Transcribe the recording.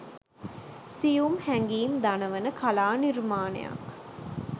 සියුම් හැඟීම් දනවන කලා නිර්මාණයක්